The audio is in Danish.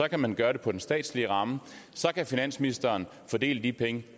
kan man gøre det på den statslige ramme så kan finansministeren fordele de penge